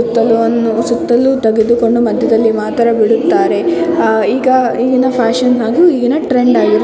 ಸುತ್ತಲೂ ತೆಗೆದುಕೊಂಡು ಮದ್ಯದಲ್ಲಿ ಮಾತ್ರ ಬಿಡುತ್ತಾರೆ ಆ ಈಗ ಫ್ಯಾಷನ್ ಆಗಿ ಇಗೆನೆ ಟ್ರೆಂಡ್ ಆಗಿದೆ.